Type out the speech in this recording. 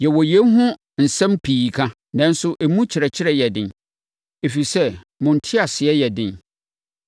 Yɛwɔ yei ho nsɛm pii ka, nanso emu kyerɛkyerɛ yɛ den, ɛfiri sɛ, mo nteaseɛ yɛ den.